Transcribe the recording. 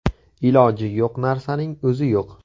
Iloji yo‘q narsaning o‘zi yo‘q.